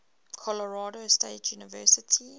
colorado state university